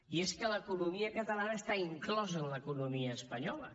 i és que l’economia catalana està inclosa en l’economia espanyola